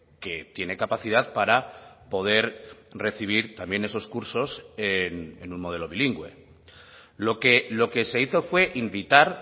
que tiene capacidad para poder recibir también esos cursos en un modelo bilingüe lo que se hizo fue invitar